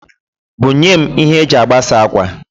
Bunyem ihe e ji agbasa akwa